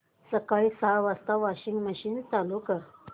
सकाळी सहा वाजता वॉशिंग मशीन चालू कर